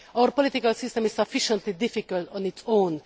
Our political system is sufficiently difficult on its own